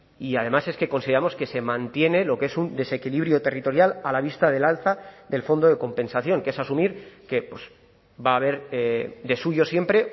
y además es que consideramos que se mantiene lo que es un desequilibrio territorial a la vista del alza del fondo de compensación que es asumir que va a haber de suyo siempre